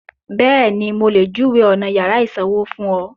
Bẹ́ẹ̀ni, mo lè júwèé ọ̀nà yàrá ìsanwó fún ọ